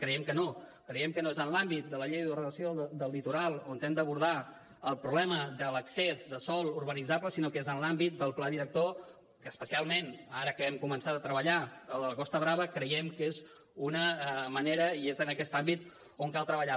creiem que no creiem que no és en l’àmbit de la llei d’ordenació del litoral on hem d’abordar el problema de l’excés de sòl urbanitzable sinó que és en l’àmbit del pla director que especialment ara que hem començat a treballar el de la costa brava creiem que és una manera i és en aquest àmbit on cal treballar